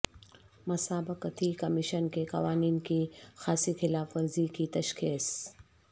مسابقتی کمیشن کے قوانین کی خاصی خلاف ورزی کی تشخیص